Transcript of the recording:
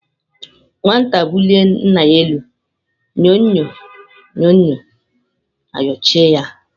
Nwata bulie Nna ya elu nyo-nyo na Nyo-nyo ayochie ya anya.